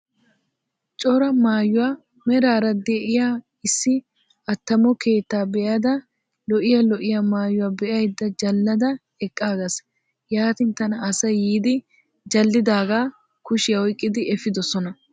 Cora maayuwaa merara de'iyaa issi attamo keettaa be'ada lo'iyaa lo'iyaa maayuwaa be'ayda jallada eqqaagas, yaatin tana asay yiidi jalliidagaa kushiyaa oyqqidi efiidosona.